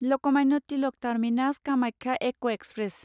Lokmanya Tilak terminus Kamakhya एक express